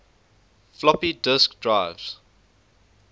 floppy disk drives